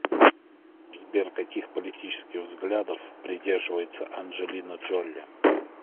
сбер каких политических взглядов придерживается анджелина джоли